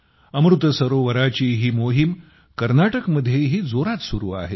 अमृत सरोवराची ही मोहीम कर्नाटकमध्येही जोरात सुरू आहे